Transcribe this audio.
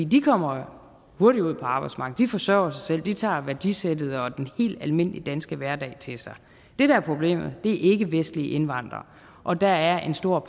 de kommer hurtigt ud på arbejdsmarkedet de forsørger sig selv de tager værdisættet og den helt almindelige danske hverdag til sig det der er problemet er ikkevestlige indvandrere og der er en stor